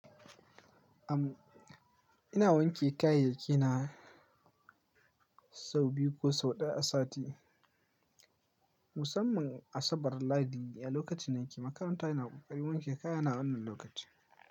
Am, ina wanke kayayyaki na, sau biyu ko sau ɗaya a sati. Musamman, Asabar, Lahadi a lokacin nike makaranta ina kokarin wanke kaya na a wannan lokaci.